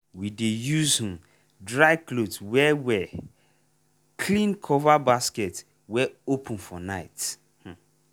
we dey use um dry cloth wey wey um clean cover basket wey open for night. um